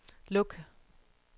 luk